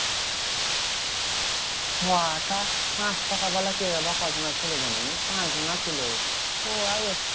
হ্যাঁ তা পাঁচটাকা ওয়ালা কেক ওরা কজনে ছিল জানিস? পাঁচজনা ছিল ওইয়াই